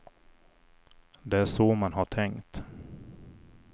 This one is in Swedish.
Det är så man har tänkt.